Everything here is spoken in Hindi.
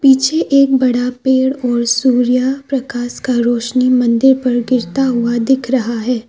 पीछे एक बड़ा पेड़ और सूर्य प्रकाश का रौशनी मंदिर पर गिरता हुआ दिख रहा है।